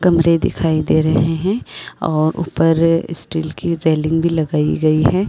कमरे दिखाई दे रहे हैं और ऊपर स्टील की रेलिंग भी लगाई गई है।